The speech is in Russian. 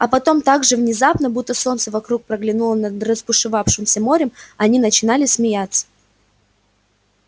а потом так же внезапно будто солнце вдруг проглянуло над разбушевавшимся морем они начинали смеяться